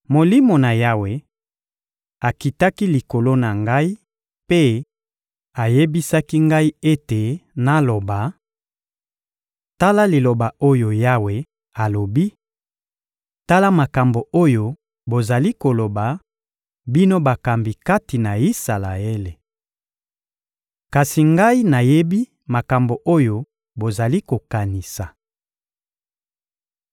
Molimo na Yawe akitaki likolo na ngai mpe ayebisaki ngai ete naloba: «Tala liloba oyo Yawe alobi: Tala makambo oyo bozali koloba, bino bakambi kati na Isalaele! Kasi Ngai nayebi makambo oyo bozali kokanisa.